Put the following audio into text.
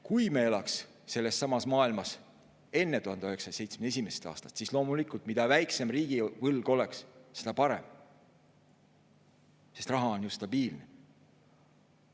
Kui me elaksime sellessamas maailmas enne 1971. aastat, siis loomulikult, mida väiksem riigivõlg oleks, seda parem, sest raha on ju stabiilne.